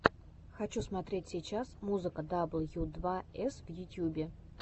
хочу смотреть сейчас музыка дабл ю два эс в ютьюбе